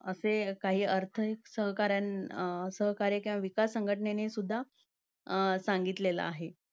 असे काही अर्थहीत~ अं सहकार्य~ अर्थसहकार्य किंवा विकास संघटनांनी सुद्धा अं सांगितलेल आहे.